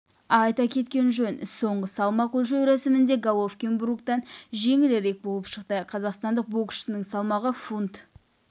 айта кеткен жөн соңғы салмақ өлшеу рәсімінде головкин бруктан жеңілірек болып шықты қазақстандық боксшының салмағы фунт